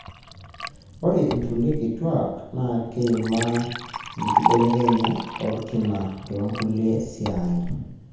ore inkulie kituak na keimaa enkibelekenyat olkina tonkulie sai.